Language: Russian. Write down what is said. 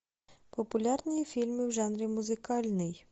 популярные фильмы в жанре музыкальный